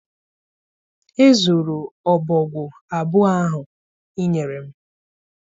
Ezuru ọbọgwụ abụọ ahụ ị nyere m.